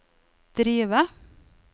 drive